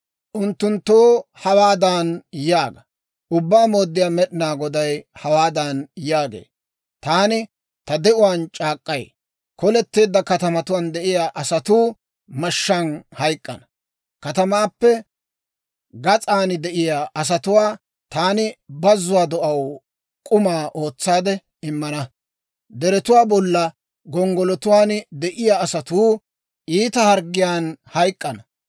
«Unttunttoo hawaadan yaaga; ‹Ubbaa Mooddiyaa Med'inaa Goday hawaadan yaagee; «Taani ta de'uwaan c'aak'k'ay: Koletteedda katamatuwaan de'iyaa asatuu mashshaan hayk'k'ana; katamaappe gas'an de'iyaa asatuwaa taani bazzuwaa do'aw k'uma ootsaade immana; deretuwaa bolla gonggolotuwaan de'iyaa asatuu iita harggiyaan hayk'k'ana.